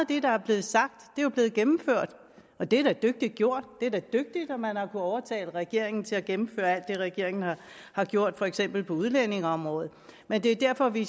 det der er blevet sagt er jo blevet gennemført og det er da dygtigt gjort det er da dygtigt at man har kunnet overtale regeringen til at gennemføre alt det regeringen har gjort for eksempel på udlændingeområdet men det er derfor vi